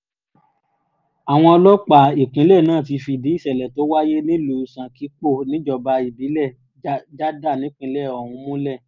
àwọn ọlọ́pàá ìpínlẹ̀ náà ti fìdí ìsẹ̀lẹ̀ tó wáyé nílùú sànkípò níjọba ìbílẹ̀ jádà nípìnlẹ̀ ọ̀hún múlẹ̀